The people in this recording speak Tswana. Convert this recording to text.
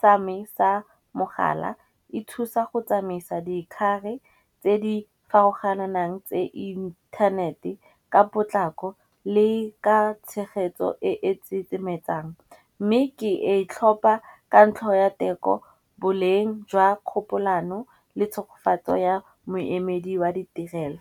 sa me sa mogala, e thusa go tsamaisa dikgare tse di farologananang tse inthanete ka potlako le ka tshegetso e e tsetsemetsang. Mme ke e tlhopha ka ntlha ya teko boleng jwa kgopolano le tshogofatso ya moemedi wa di diesel.